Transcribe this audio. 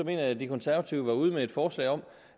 jeg at de konservative var ude med et forslag om